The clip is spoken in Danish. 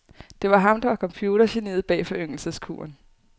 Det var ham, der var computergeniet bag foryngelseskuren.